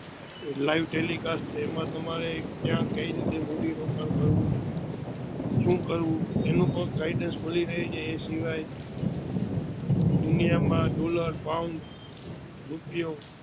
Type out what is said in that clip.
live telicast આમાં તમારે કયા મૂડી રોકાણ કરવું શું કરવું એનું પણ guidness મળી રહે છે એ સિવાય દુનિયા માં ડોલર, પાઉન્ડ, રૂપિયો